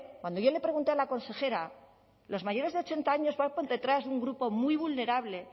cuando yo le pregunté a la consejera los mayores de ochenta años van por detrás de un grupo muy vulnerable